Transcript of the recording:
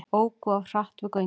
Óku of hratt við göngin